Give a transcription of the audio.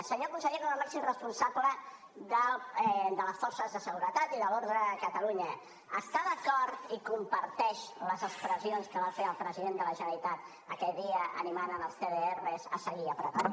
senyor conseller com a màxim responsable de les forces de seguretat i de l’ordre a catalunya està d’acord i comparteix les expressions que va fer el president de la generalitat aquell dia animant els cdrs a seguir apretant